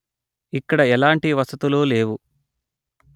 ఇక్కడ ఎలాంటి వసతులు లేవు